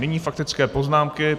Nyní faktické poznámky.